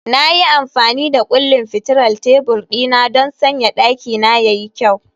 Na yi amfani da kullin fitilar tebur dina don sanya dakina ya yi kyau